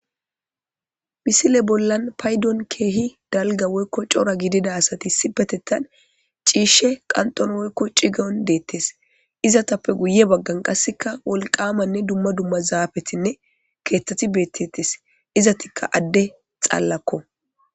Miaile bollan keehippe dalgga woykko cora gidida asati issipetethan ciishe qanxxon cigon deethes. Izatappw guye baggan wolqamanne dumma dumma zaafetinne keethati beettetes. Izatikka adde xallakko.